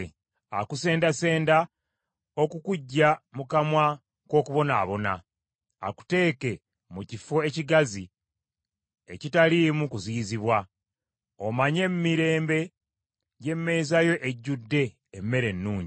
“Akusendasenda okukuggya mu kamwa k’okubonaabona, akuteeke mu kifo ekigazi ekitaliimu kuziyizibwa, omanye emirembe gy’emeeza yo ejjudde emmere ennungi.